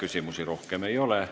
Küsimusi rohkem ei ole.